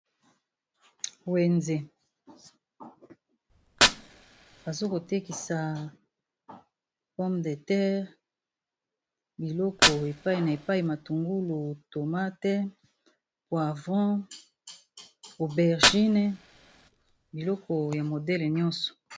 wenze, bazakotekisa pomme de terre biloko epai na epai matungulu tomate poivon aubergine biloko ya modele nyonso.